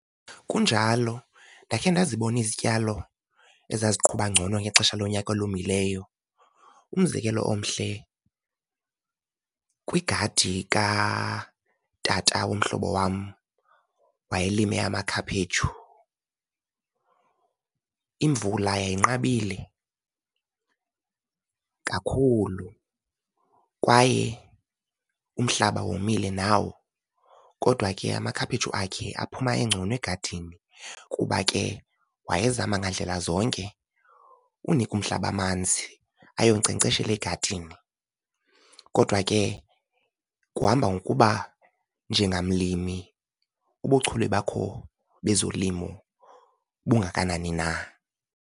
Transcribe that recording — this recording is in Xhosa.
Kunjalo, ndakhe ndazibona izityalo ezaziqhuba ngcono ngexesha lonyaka olomileyo. Umzekelo omhle, kwigadi katata womhlobo wam wayelime amakhaphetshu. Imvula yayinqabile kakhulu kwaye umhlaba womile nawo, kodwa ke amakhaphetshu akhe aphuma engcono egadini, kuba ke wayezama ngandlela zonke unika umhlaba amanzi ayonkcenkceshela egadini, kodwa ke kuhamba ngokuba njengamlimi ubuchule bakho bezolimo bungakanani na.